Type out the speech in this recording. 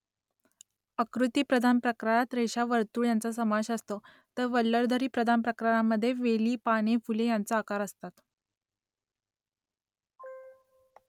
आकृतीप्रधान प्रकारात रेषा वर्तुळ यांचा समावेश असतो तर वल्लरीप्रधान प्रकारामध्ये वेली पाने फुले यांचे आकार असतात